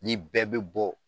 Ni bɛɛ be bɔ